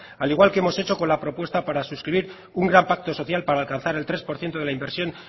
al igual que hemos hecho con la propuesta para suscribir un gran pacto social para alcanzar el tres por ciento de la inversión